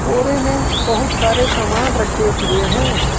बोरे में बहुत सारे सामान रखे हुए हैं।